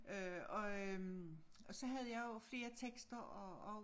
Øh og øh og så jeg havde jeg jo flere tekster og og